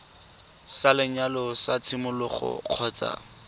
sa lenyalo sa tshimologo kgotsa